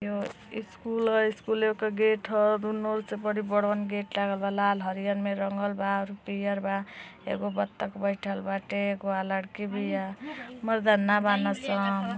एगो स्कूल ह स्कूले पे गेट ह दुनो और से बड़ी बडवन गेट लागल बा लाल हरियल में रंगल बा पियर बा एगो बतख बैठल बा लड़की बिया।